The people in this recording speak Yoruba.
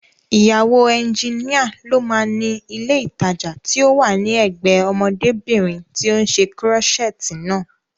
Ìyàwó ẹnjínìa ló máa ni ilé ìtajà tí ó wà ní ẹ̀gbẹ́ẹ ọmọdébìnrin tí ó ṣe kúrọ́ṣẹ̀ẹ̀tì naa